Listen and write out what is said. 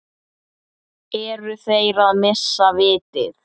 Eru þeir að missa vitið?